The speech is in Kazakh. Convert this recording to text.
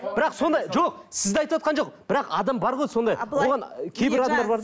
бірақ сондай жоқ сізді айтыватқан жоқпын бірақ адам бар ғой сондай оған ы кейбір адамдар бар